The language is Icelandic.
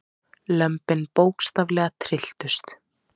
Lömbin bókstaflega trylltust.